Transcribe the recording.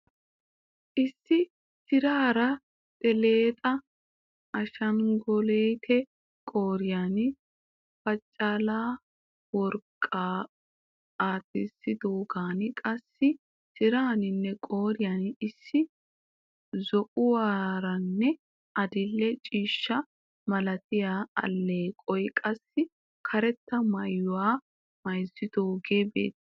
Issi tiraara telxxa ashshangulutte qooriyan pachchal'a worqqaa aattidoogeenne qassii tiraanninne qooriyan issi zo'uwaaranne addildhdhe ciishshaa malatiyaa aleeqoy qassi karetta mayyuwa mayzzidoogee beettees.